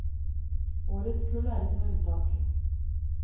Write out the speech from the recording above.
Årets kull er ikke noe unntak.